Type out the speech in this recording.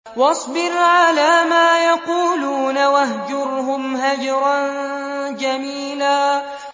وَاصْبِرْ عَلَىٰ مَا يَقُولُونَ وَاهْجُرْهُمْ هَجْرًا جَمِيلًا